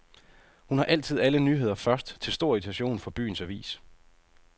Hun har altid alle nyheder først, til stor irritation for byens avis.